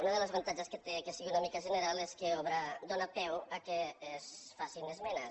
un dels avantatges que té que sigui una mica general és que dóna peu al fet que es facin esmenes